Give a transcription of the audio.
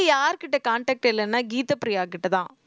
யார்கிட்ட contact இல்லைன்னா கீதப்பிரியாகிட்டதான்